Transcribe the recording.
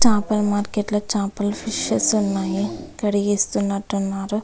చాపలు మార్కెట్ లో చాపలు ఫిషెస్ వునటు వునయి కడిగిస్తునారు.